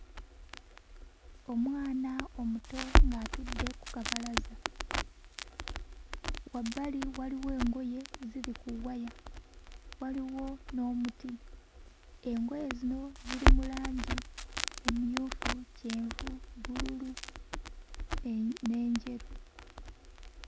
Omwana omuto ng'atudde ku kabalaza. Wabbali waliwo engoye ziri ku waya, waliwo n'omuti. Engoye zino ziri mu langi emmyufu, kyenvu, bbululu e n'enjeru.